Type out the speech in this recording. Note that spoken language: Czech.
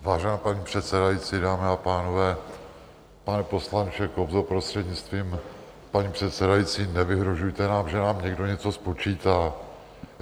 Vážená paní předsedající, dámy a pánové, pane poslanče Kobzo, prostřednictvím paní předsedající, nevyhrožujte nám, že nám někdo něco spočítá.